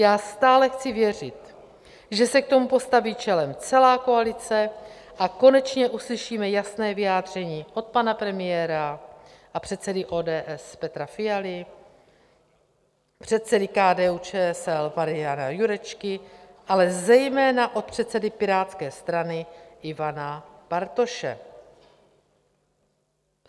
Já stále chci věřit, že se k tomu postaví čelem celá koalice a konečně uslyšíme jasné vyjádření od pana premiéra a předsedy ODS Petra Fialy, předsedy KDU-ČSL Mariana Jurečky, ale zejména od předsedy Pirátské strany Ivana Bartoše.